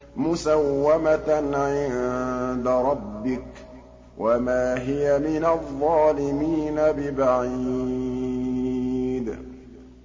مُّسَوَّمَةً عِندَ رَبِّكَ ۖ وَمَا هِيَ مِنَ الظَّالِمِينَ بِبَعِيدٍ